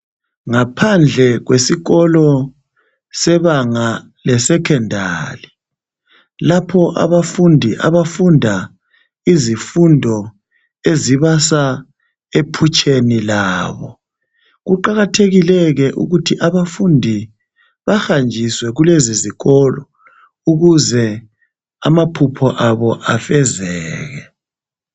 Ngaphandle kwesikolo sebanga lesecondary lapho abafundi abafunda izifundo ezibasa ephutsheni labo kuqakathekile ke ukuthi abafundi bahanjiswe lulezi zikolo ukuze amaphupho abo afezeke